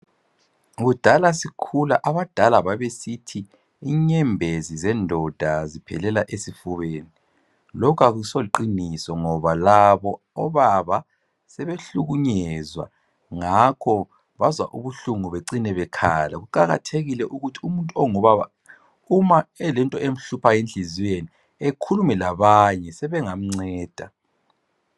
Kudala sikhula abadala babesithi inyembezi zendoda ziphelela esifubeni, lokho akusoqiniso ngoba labo obaba sebehlukunyezwa, ngakho bazwa ubuhlungu becine bekhala. Kuqakathekile ukuthi umuntu ongubaba uma elento emhluphayo enhlizweni ekhulume labanye sebengamnceda.